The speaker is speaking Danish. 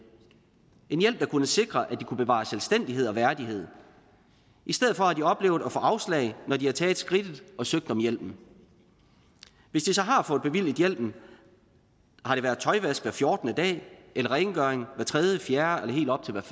en hjælp der kunne sikre at de kunne bevare selvstændighed og værdighed i stedet for har de oplevet at få afslag når de har taget skridtet og søgt om hjælpen hvis de så har fået bevilget hjælpen har det været tøjvask hver fjortende dag eller rengøring hver tredje fjerde eller helt op til